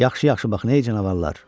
Yaxşı-yaxşı baxın, ey canavarlar!